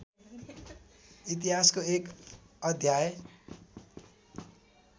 इतिहासको एक अध्याय